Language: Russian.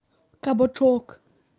кабачок